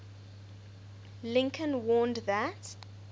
lincoln warned that